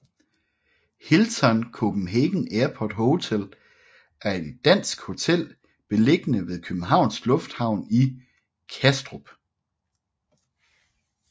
Hilton Copenhagen Airport Hotel er et dansk hotel beliggende ved Københavns Lufthavn i Kastrup